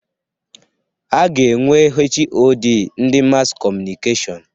A ga-enwe HoD ndị Maskọmunikashon.